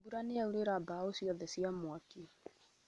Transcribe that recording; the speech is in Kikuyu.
Mbura nĩ yaũrĩra mbaũ ciothe cia mwaki